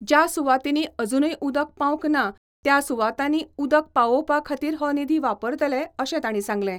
ज्या सुवातीनी अजूनूय उदक पावंक ना त्या सुवातीनी उदक पावोवपा खातीर हो निधी वापरतले अशें ताणीं सांगले.